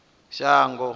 shango